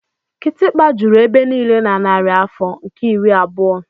kịtịkpa juru ebe niile na narị afọ nke iri abụọ.